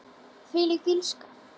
Þvílík illska.